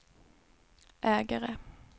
ägare